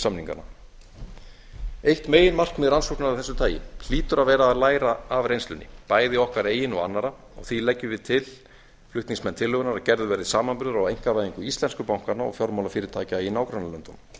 kaupsamninganna eitt meginmarkmið rannsóknar af þessu tagi hlýtur að vera að læra af reynslunni bæði okkar eigin og annarra því leggjum við til flutningsmenn tillögunnar að gerður verði samanburður á einkavæðingu íslensku bankanna og fjármálafyrirtækja í nágrannalöndunum